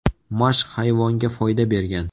Mashq hayvonga foyda bergan.